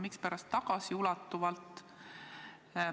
Mispärast tagasiulatuvalt?